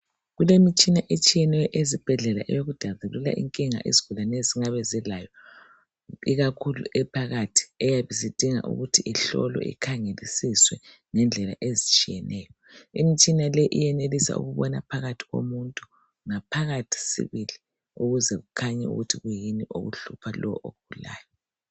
Kulemitshina etshiyeneyo ezibhedlela eyekudabulula inkinga izigulane ezingabe zilayo ikakhulu ephakathi eyabe isidinga ukuthi ihlolwe ikhangelisiswe ngendlela ezitshiyeneyo imitshina leyi iyenelisa ukuba phakathi komuntu ngaphakathi sibili ukuze kukhanye ukuthi kuyini okuhlupha lo ogulayo.